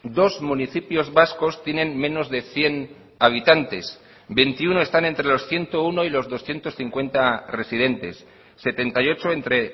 dos municipios vascos tienen menos de cien habitantes veintiuno están entre los ciento uno y los doscientos cincuenta residentes setenta y ocho entre